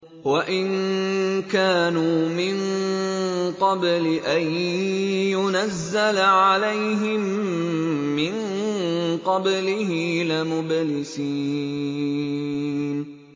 وَإِن كَانُوا مِن قَبْلِ أَن يُنَزَّلَ عَلَيْهِم مِّن قَبْلِهِ لَمُبْلِسِينَ